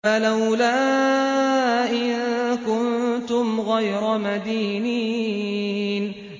فَلَوْلَا إِن كُنتُمْ غَيْرَ مَدِينِينَ